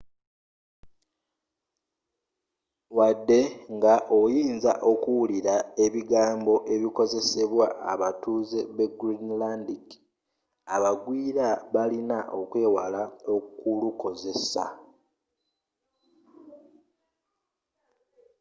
wadde nga oyinza okuwulira ebigambo ebikozesebwa abatuuze b'egreenlandic abagwiira balina okwewala okulukozesa